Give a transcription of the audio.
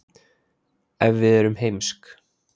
ef við erum heimsk